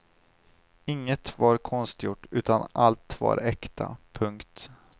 Inget var konstgjort utan allt var äkta. punkt